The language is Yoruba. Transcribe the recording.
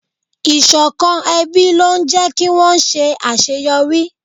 Ìṣọ̀kan ẹbí ló ń jé kí wón ṣe àṣeyọrí.